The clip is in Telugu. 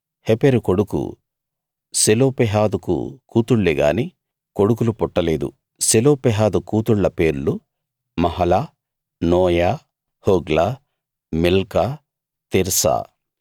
హెపెరు కొడుకు సెలోపెహాదుకు కూతుళ్ళేగాని కొడుకులు పుట్టలేదు సెలోపెహాదు కూతుళ్ళ పేర్లు Mahlah Noah Hoglah Milcah Tirzah